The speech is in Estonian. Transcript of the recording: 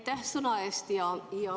Aitäh sõna andmise eest!